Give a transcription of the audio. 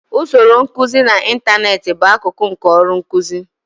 Usoro nkuzi n'ịntanetị bụ akụkụ nke ọrụ nkuzi.